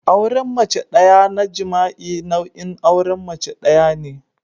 auren mace daya na jima'i nau'in auren mace daya ne